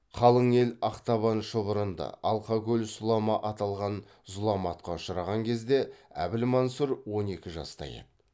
қалың ел ақтабан шұбырынды алқа көл сұлама аталған зұламатқа ұшыраған кезде әбілмансұр он екі жаста еді